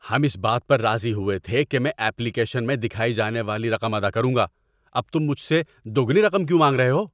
ہم اس بات پر راضی ہوئے تھے کہ میں ایپلیکیشن میں دکھائی جانے والی رقم ادا کروں گا۔ اب تم مجھ سے دوگنی رقم کیوں مانگ رہے ہو؟